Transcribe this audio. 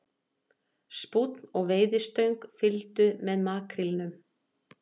Spúnn og veiðistöng fylgdu með makrílnum